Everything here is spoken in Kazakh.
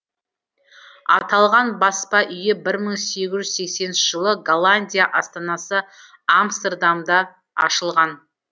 аталған баспа үйі бір мың сегіз жүз сексенінші жылы голландия астанасы амстердамда ашылған